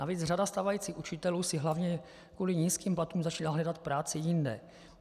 Navíc řada stávajících učitelů si hlavně kvůli nízkým platům začala hledat práci jinde.